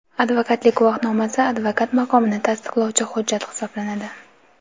advokatlik guvohnomasi advokat maqomini tasdiqlovchi hujjat hisoblanadi.